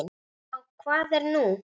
Já, hvað er nú?